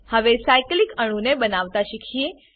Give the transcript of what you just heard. હવે સાયક્લિક અણુને બનાવતા શીખીશું